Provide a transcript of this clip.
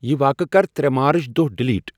یِہ واقعہٕ کر ترے مارچ دۄہ ڈیلیٹ ۔